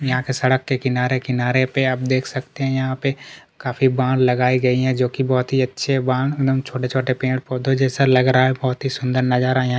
यहाँ के सड़क के किनारे किनारे पर देख सकते हैं आप यहाँ पे काफी बाण लगाई गई है जो की बहुत अच्छे बाण एक दम छोटे-छोटे पेड़-पोधो जैसे लग रहा है बहोत ही सुंदर नजारा यहाँ--